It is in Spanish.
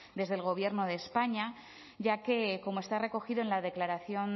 desde el gobierno de españa ya que como está recogido en la declaración